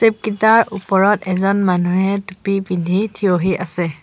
Step কিটাৰ ওপৰত এজন মানুহে টুপী পিন্ধি থিয়হি আছে।